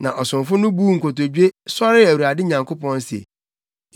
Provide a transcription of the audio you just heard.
Na ɔsomfo no buu nkotodwe, sɔree Awurade Nyankopɔn se,